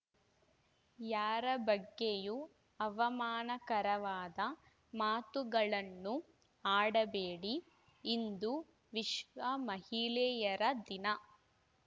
ಯಾರ ಬಗ್ಗೆಯೂ ಅವಮಾನಕರವಾದ ಮಾತುಗಳನ್ನು ಆಡಬೇಡಿ ಇಂದು ವಿಶ್ವ ಮಹಿಳೆಯರ ದಿನ